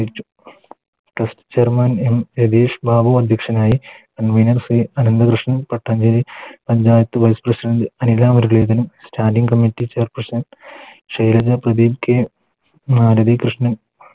ChairmanM Ratheesh Babu അധ്യക്ഷനായി c Anantha Krishnan Pattancheri panchayat Vice presidant Anila Muraleedharan Standing committee chairperson Shailaja Pradeep K Arathi Krishnan